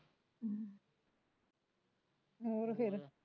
ਹੋਰ ਫੇਰ